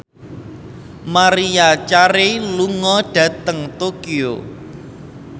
Maria Carey lunga dhateng Tokyo